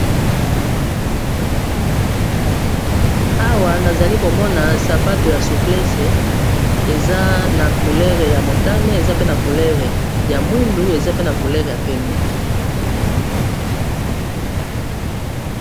Awa nazali komona sapato ya suplece eza na coulere ya motane, eza pe na coulere ya mwindu, eza pe na coulere ya pembe.